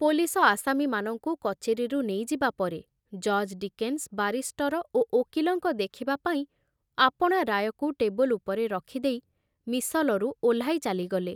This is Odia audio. ପୋଲିସ ଆସାମୀମାନଙ୍କୁ କଚେରୀରୁ ନେଇଯିବା ପରେ ଜଜ ଡିକେନ୍ସ୍ ବାରିଷ୍ଟର ଓ ଓକିଲଙ୍କ ଦେଖିବା ପାଇଁ ଆପଣା ରାୟକୁ ଟେବୁଲ ଉପରେ ରଖିଦେଇ ମିସଲରୁ ଓହ୍ଲାଇ ଚାଲିଗଲେ।